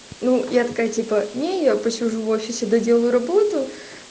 ну я такая типа не я посижу в офисе доделаю работу